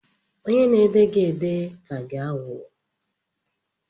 Onye na-ede gị ede ka gị aghụghọ